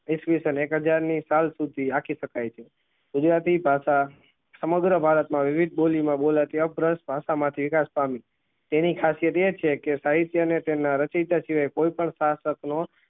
એકવીસ ને એક હજાર ની સાલ સુધી આપી સ્કાય છે ગુજરાતી પાછા સમગ્ર ભારત માં વિવેક બોલી માં બોલાતી અ ભાષા મા થી વિકાસ પામે તેની ખાસિયત એ છે કે સાહિત્ય ને તેમના રેચેતા શિવાય કોઈ પણ નો